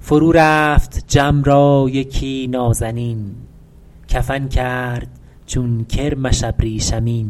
فرو رفت جم را یکی نازنین کفن کرد چون کرمش ابریشمین